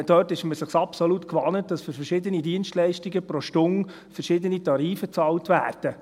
Dort ist man sich absolut gewohnt, dass für verschiedene Dienstleistungen pro Stunde verschiedene Tarife bezahlt werden.